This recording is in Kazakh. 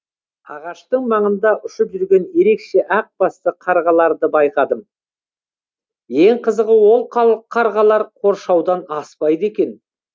ағаштың маңында ұшып жүрген ерекше ақ басты қарғаларды байқадым ең қызығы ол қарғалар қоршаудан аспайды екен